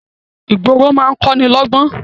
Ìgboro máa ń kọ́ni lọ́ gbọ́n